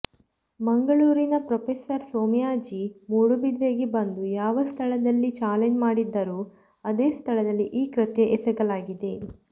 ಮಂಗಳೂರಿನ ಪ್ರೊಪೆಸರ್ ಸೋಮಯಾಜಿ ಮೂಡುಬಿದಿರೆಗೆ ಬಂದು ಯಾವ ಸ್ಥಳದಲ್ಲಿ ಚಾಲೆಂಜ್ ಮಾಡಿದ್ದರೋ ಅದೇ ಸ್ಥಳದಲ್ಲಿ ಈ ಕೃತ್ಯ ಎಸಗಲಾಗಿದೆ